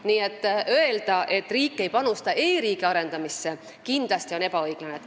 Nii et öelda seda, et riik ei panusta e-riigi arendamisse, on kindlasti ebaõiglane.